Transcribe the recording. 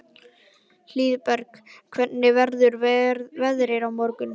Hlíðberg, hvernig verður veðrið á morgun?